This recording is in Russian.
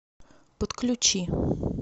подключи